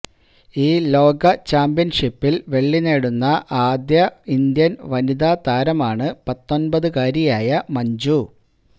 ഈ ലോക ചാമ്പ്യന്ഷിപ്പില് വെള്ളി നേടുന്ന ആദ്യ ഇന്ത്യന് വനിതാ താരമാണ് പത്തൊന്പതുകാരിയായ മഞ്ജു